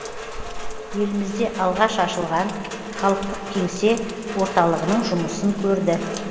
елімізде алғаш ашылған халықтық кеңсе орталығының жұмысын көрді